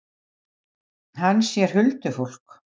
Og þau eru nú tvö um þetta á meðan þú ert bara ein.